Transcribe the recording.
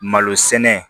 Malo sɛnɛ